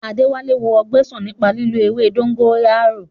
Adéwálé wo ọgbẹ́ sàn nípa lílo ewé dógóyárò